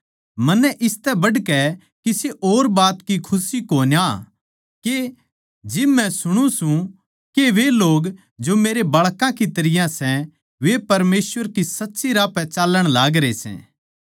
मन्नै इसतै बढ़कै किसे और बात की खुशी कोन्या के जिब मै सुणु सूं के वे लोग जो मेरे बाळकां की तरियां सै वे परमेसवर के सच्चे राह पै चाल्लण लागरया सै